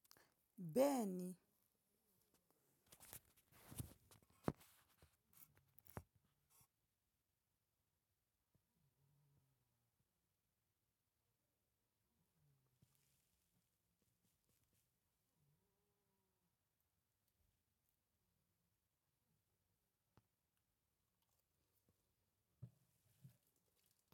Bẹẹni.